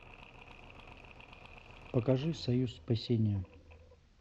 покажи союз спасения